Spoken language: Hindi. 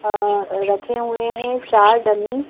रखे हुए हैं चार डमी --